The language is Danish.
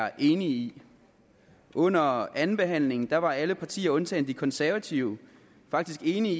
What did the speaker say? er enige i under andenbehandlingen var alle partier undtagen de konservative faktisk enige